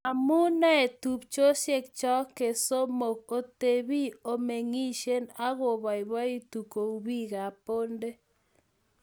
omu noee tupchosiekcho kesomook otebii, omeng'isien ak oboiboitu kou biikab Bonde